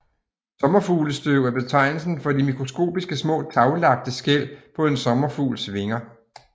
Sommerfuglestøv er betegnelsen for de mikroskopiske små taglagte skæl på en sommerfugls vinger